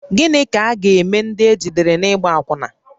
Gịnị ka a ga-eme ndị ejidere n’ịgba akwụna?